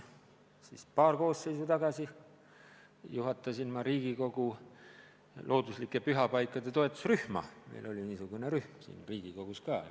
Vist paar koosseisu tagasi juhtisin ma Riigikogu looduslike pühapaikade toetusrühma – siis oli niisugune rühm siin Riigikogus ka.